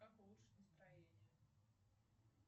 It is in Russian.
как улучшить настроение